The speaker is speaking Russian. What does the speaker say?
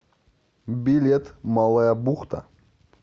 билет малая бухта